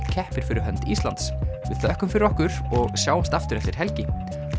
keppir fyrir hönd Íslands við þökkum fyrir okkur og sjáumst aftur eftir helgi